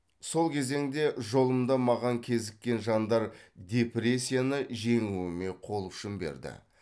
сол кезеңде жолымда маған кезіккен жандар депрессияны жеңуіме қол ұшын берді